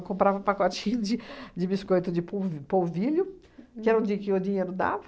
Eu comprava um pacotinho de de biscoito de polv polvilho, que era onde o dinheiro dava.